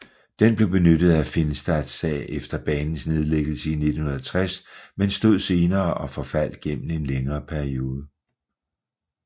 Den blev benyttet af Finstad sag efter banens nedlæggelse i 1960 men stod senere og forfaldt gennem en længere periode